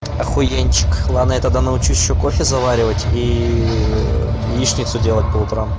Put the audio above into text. охуенчик ладно я тогда научу кофе заваривать и яичницу делать по утрам